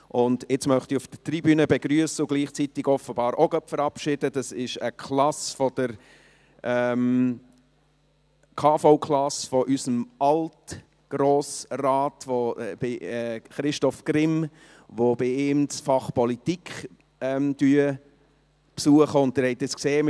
Nun möchte ich auf der Tribüne eine KV-Klasse unseres Alt-Grossrats Christoph Grimm, die bei ihm das Fach Politik besucht, begrüssen und gleichzeitig offenbar auch gerade verabschieden.